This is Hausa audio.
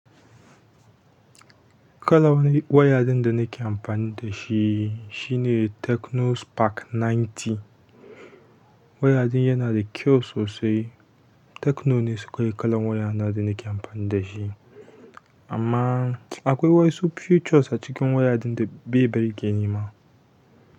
Kalan wani wayayen da nake amfani da shi shine Tecno Spark ninety. Waya ɗin yana da kyau sosai. Tecno ne shi kawai kalan waya na da nake amfani da shi. Amma akwai waƴansu futures a cikin waya ɗin da bai burge ni ma.